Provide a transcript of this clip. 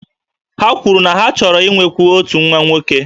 Ha kwuru na ha chọrọ inwekwu otu nwa nwoke